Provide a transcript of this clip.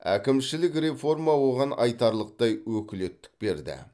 әкімшілік реформа оған айтарлықтай өкілеттік берді